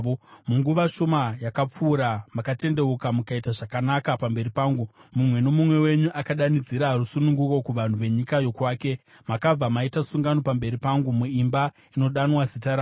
Munguva shoma yakapfuura, makatendeuka mukaita zvakanaka pamberi pangu: Mumwe nomumwe wenyu akadanidzira rusununguko kuvanhu venyika yokwake. Makabva maita sungano pamberi pangu muimba inodanwa neZita rangu.